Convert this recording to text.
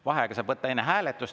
Vaheaega saab võtta enne hääletust.